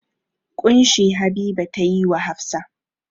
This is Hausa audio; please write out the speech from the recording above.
ƙunshi Habiba ta yi wa Hafsa.